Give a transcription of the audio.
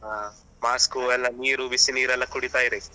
ಹಾ mask ಎಲ್ಲ ನೀರು ಬಿಸಿನೀರು ಎಲ್ಲ ಕುಡಿತಾ ಇರಿ.